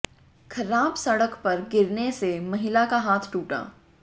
खराब सड़क पर गिरने से महिला का हाथ टूटा